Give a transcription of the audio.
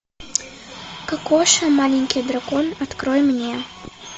кокоша маленький дракон открой мне